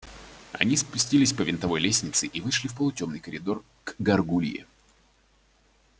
они спустились по винтовой лестнице и вышли в полутемный коридор к гаргулье